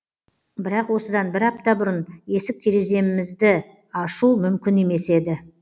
бірақ осыдан бір апта бұрын есік тереземізді ашу мүмкін емес еді